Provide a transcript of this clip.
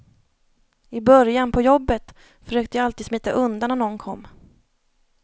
I början, på jobbet, försökte jag alltid smita undan när någon kom.